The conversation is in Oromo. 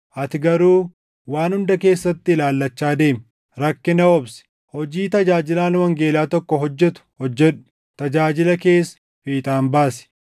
Ati garuu waan hunda keessatti ilaallachaa deemi; rakkina obsi; hojii tajaajilaan wangeelaa tokko hojjetu hojjedhu; tajaajila kees fiixaan baasi.